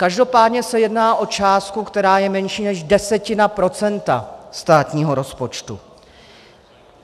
Každopádně se jedná o částku, která je menší než desetina procenta státního rozpočtu.